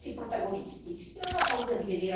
Io non ho paura di vedere anche queste implicazioni.